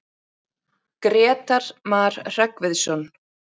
Grétar Mar Hreggviðsson.